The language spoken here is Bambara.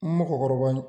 N mɔgɔkɔrɔba